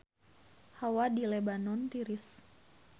Hawa di Lebanon tiris